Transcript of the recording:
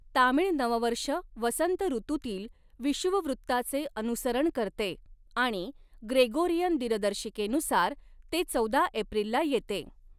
तामीळ नववर्ष वसंत ऋतूतील विषुववृत्ताचे अनुसरण करते आणि ग्रेगोरियन दिनदर्शिकेनुसार ते चौदा एप्रिलला येते.